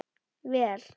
Vel